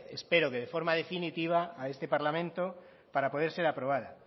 espero que de forma definitiva a este parlamento para poder ser aprobada